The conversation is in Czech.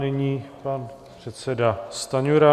Nyní pan předseda Stanjura.